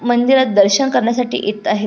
मंदिरात दर्शन करण्यासाठी येत आहेत.